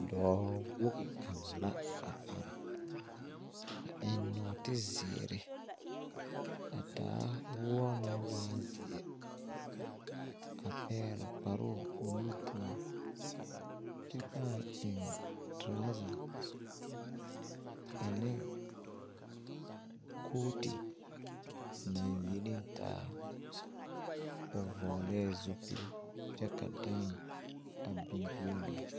Doɔ wogi kanga la a arẽ a eng nuoti ziiri a taa wuo nang waa zeɛ a pɛgli kparoo ɔ nu pou kye paa en truza a ning kooti nang yinin taa ɔ vɔglee zupil kye ka dãã bin pɛɛloo.